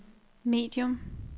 medium